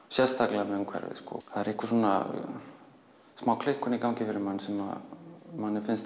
sérstaklega með umhverfið það er einhver smá klikkun í gangi sem mér finnst